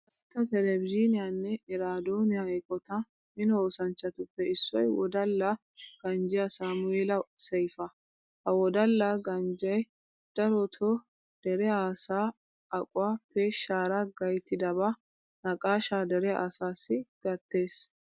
Wolaytta televizhikniyanne eraadooniya eqotaa mino oosanchchatuppe issoy wodala ganjjiya saamu'eela seyfa. Ha wodala ganjjee darotoo dere asaa aquwa peeshshaara gayttidabaa naqaashaa dere asaassi gattees.